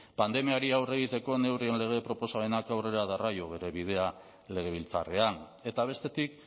pandemiari aurre egiteko neurrien lege proposamenak aurrera darrai bere bidea legebiltzarrean eta bestetik